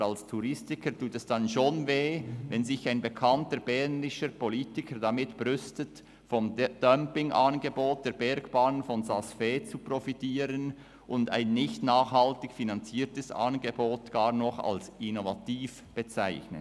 Aber als Touristiker tut es dann schon weh, wenn sich ein bekannter bernischer Politiker damit brüstet, vom Dumpingangebot der Bergbahnen in Saas Fee zu profitieren und ein nicht nachhaltig finanziertes Angebot sogar noch als innovativ bezeichnet.